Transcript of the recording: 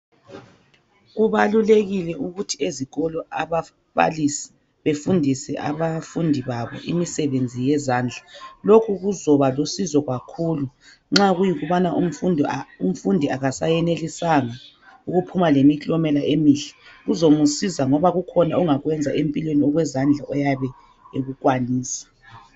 Kubalulekile ukuthi ezikolo ababalisi befundise abafundi babo imisebenzi yezandla, lokhu kuzoba lusizo kakhulu nxa kuyikubana umfundi akasayenelisanga ukuphuma lemiklomela emihle kuzomusiza ngoba kukhona ongakwenza empilweni okwezandla oyabe ekukwanisa.